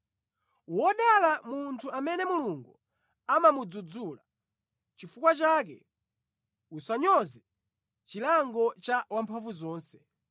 “Wodala munthu amene Mulungu amamudzudzula; nʼchifukwa chake usanyoze chilango cha Wamphamvuzonse.